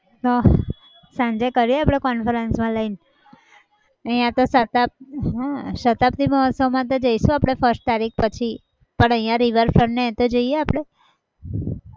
તો સાંજે કરીએ આપણે conference માં લઈને અહીંયા તો શતાબ્દી હા શતાબ્દી મોહત્સવમાં તો જઈશું આપણે first તારીખ પછી પણ અહીંયા river front ને એતો જઈને આપણે